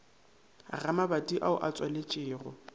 ga mabati ao a tswaletšwego